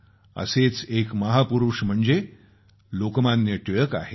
असेच एक महापुरूष म्हणजे लोकमान्य टिळक आहेत